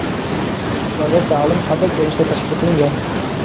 Ularda ta’lim qanday ko‘rinishda tashkil qilingan?.